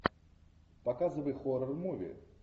показывай хоррор муви